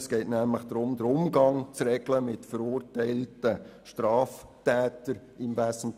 Es geht im Wesentlichen darum, den Umgang mit verurteilten Straftätern zu regeln.